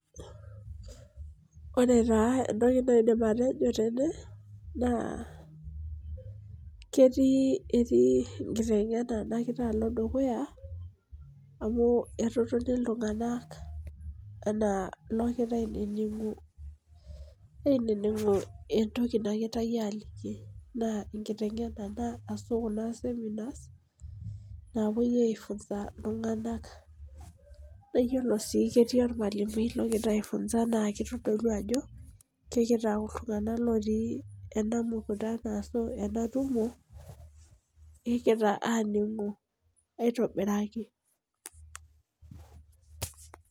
Ore taa enaidim atejo tene naa ketii enkiteng'ena nagira alo dukuya amu etotona iltunganak anaa iloogira ainining'u entoki naagirae aaliki, naa enkiteng'ena ashu Kuna seminar naapuoi ai funza iltunganak .naa iyiolo sii ketii olmalimui logira aifunsa naa kitodolu ajo, mitau iltunganak otii ena mukutano ashu ena tumo. Kegira aajing'u aitobiraki.